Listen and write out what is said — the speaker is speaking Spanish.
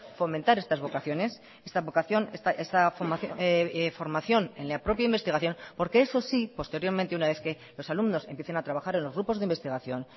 fomentar estas vocaciones esta vocación esta formación en la propia investigación porque eso sí posteriormente una vez que los alumnos empiecen a trabajar en los grupos de investigación